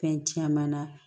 Fɛn caman na